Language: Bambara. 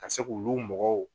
Ka se k'olu mɔgɔw